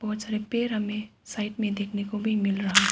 पेड़ हमे साइड में देखने को भी मिल रहा--